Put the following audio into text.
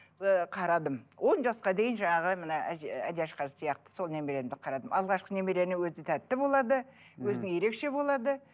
ыыы қарадым он жасқа дейін жаңағы мына сияқты сол немеремді қарадым алғашқы немерені өзі тәтті болады өзі ерекше болады